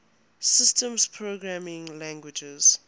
systems programming languages